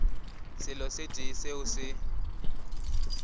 selo se tee seo se